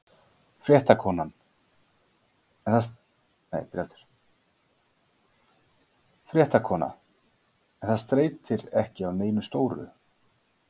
Fréttakona: En það steytir ekki á neinu stóru?